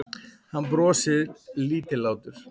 Hann brosir lítillátur.